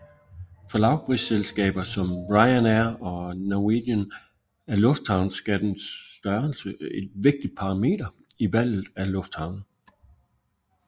For lavprisselskaber som Ryanair og Norwegian er lufthavnsskattens størrelse et vigtigt parameter i valget af lufthavne